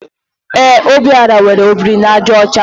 Ee, Obiora nwere ọ biri na àjà ọcha.